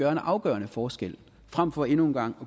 en afgørende forskel frem for endnu en gang